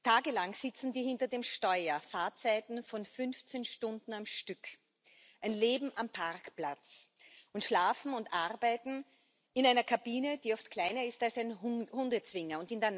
Tagelang sitzen sie hinter dem Steuer, Fahrzeiten von 15 Stunden am Stück, ein Leben am Parkplatz und Schlafen und Arbeiten in einer Kabine, die oft kleiner ist als ein Hundezwinger.